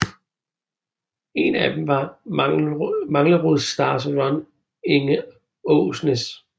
En af dem var Manglerud Stars Ron Inge Aasnes